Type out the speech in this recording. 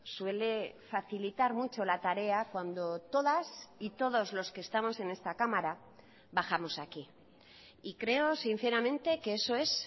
suele facilitar mucho la tarea cuando todas y todos los que estamos en esta cámara bajamos aquí y creo sinceramente que eso es